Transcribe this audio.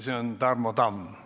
Selle esitab Tarmo Tamm.